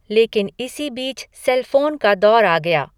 लेकिन इसी बीच सेलफ़ोन का दौर आ गया।